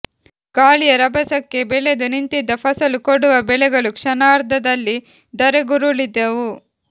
ಗಾಳಿಯ ರಭಸಕ್ಕೆ ಬೆಳೆದು ನಿಂತಿದ್ದ ಫಸಲು ಕೊಡುವ ಬೆಳೆಗಳು ಕ್ಷಣಾರ್ಧದಲ್ಲಿ ಧರೆಗುರುಳಿದವು